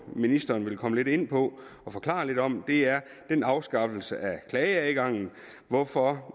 ministeren vil komme lidt ind på og forklare lidt om det er den afskaffelse af klageadgangen hvorfor